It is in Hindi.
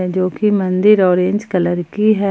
जो की मंदिर ऑरेंज कलर की है।